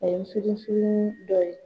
A ye dɔ ye